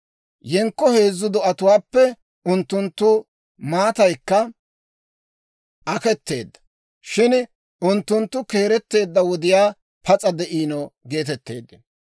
Yenkko heezzu do'atuwaappe, unttunttu maataykka aketeedda; shin unttunttu keeretteedda wodiyaa pas'a de'ino geetetteeddino.